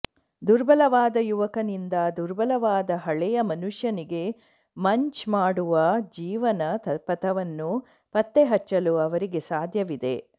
ದುರ್ಬಲವಾದ ಯುವಕನಿಂದ ದುರ್ಬಲವಾದ ಹಳೆಯ ಮನುಷ್ಯನಿಗೆ ಮಂಚ್ ಮಾಡುವ ಜೀವನ ಪಥವನ್ನು ಪತ್ತೆಹಚ್ಚಲು ಅವರಿಗೆ ಸಾಧ್ಯವಿದೆ